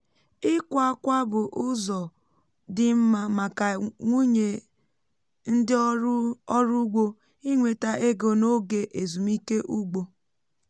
ịkwa akwa bụ ụzọ dị mma màká nwúnye ndị ọrụ ọrụ ugbo inweta ego n’oge ezumike ugbo